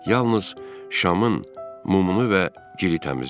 Yalnız şamın mumunu və giri təmizlədi.